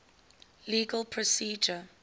legal procedure